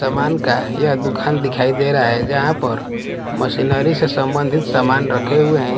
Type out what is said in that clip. समान का यह दुखान दिखाई दे रहा है जहां पर मशीनरी से संबंधित समान रखे हुए हैं।